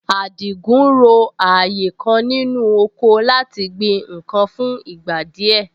Àdìgún ro ààyè kan nínú oko láti gbin nǹkan fún ìgbà díẹ̀